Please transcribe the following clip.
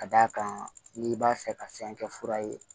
Ka d'a kan n'i b'a fɛ ka fɛn kɛ fura ye